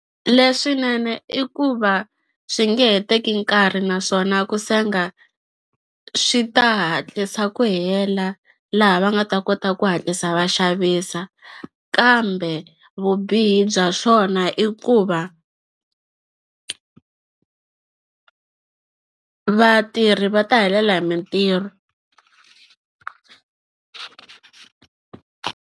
Leswinene i ku va swi nge he teki nkarhi naswona ku senga swi ta hatlisa ku hela laha va nga ta kota ku hatlisa va xavisa kambe vubihi bya swona i ku va vatirhi va ta helela hi mintirho.